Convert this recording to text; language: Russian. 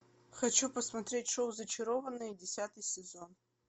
хочу посмотреть шоу зачарованные десятый сезон